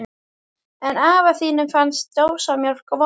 En afa þínum finnst dósamjólk vond.